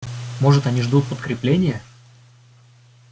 может они ждут подкрепления